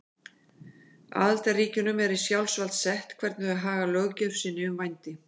Aðildarríkjunum er í sjálfsvald sett hvernig þau haga löggjöf sinni um vændi.